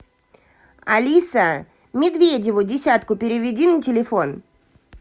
алиса медведеву десятку переведи на телефон